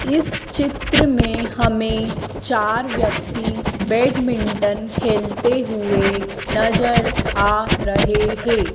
इस चित्र में हमें चार व्यक्ति बैडमिंटन खेलते हुए नजर आ रहे हैं।